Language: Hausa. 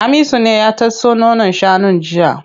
Hamisu ne ya tatso nonon shanun jiya.